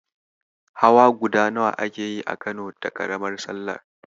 Hawa guda nawa ake yi a Kano da ƙaramar sallah?